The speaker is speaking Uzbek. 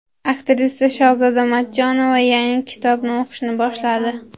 Aktrisa Shahzoda Matchonova yangi kitobni o‘qishni boshladi.